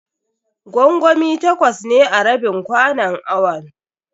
Gwangwami takwas ne a rabin kwanon awon.